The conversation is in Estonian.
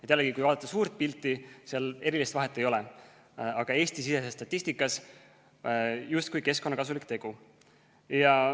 Jällegi, kui vaadata suurt pilti, siis seal erilist vahet ei ole, aga Eesti-sisese statistika mõttes on see justkui keskkonnakasulik tegu.